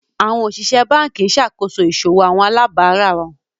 Awọn osìsẹ̀ bánkì n ṣakoso iṣòwò awọn alàbárà wọn.